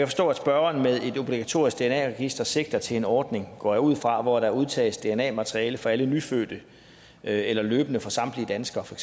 forstå at spørgeren med et obligatorisk dna register sigter til en ordning går jeg ud fra hvor der udtages dna materiale fra alle nyfødte eller løbende fra samtlige danskere for